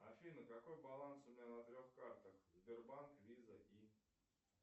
афина какой баланс у меня на трех картах сбербанк виза и